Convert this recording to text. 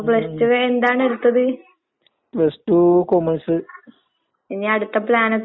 ശെരിക്കും പഠനത്തിന്റെ ആഹ് മൂല്യം മനസ്സിലാകണമെങ്കിൽ നമ്മൾ നല്ലെരിക്ക് അത്